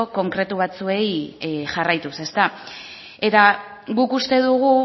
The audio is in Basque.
konkretu batzuei jarraituz ezta eta guk uste dugu